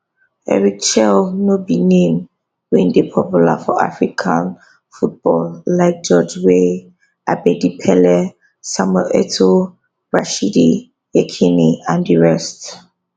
eric chelle no be name wey dey popular for african football like george weah abedi pele samuel etoo rashidi yekini and di rest